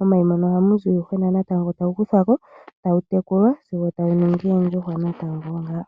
ohamu zi uuyuhwena natango tawu tekulwa sigo wa ningi oondjuhwa oonene natango.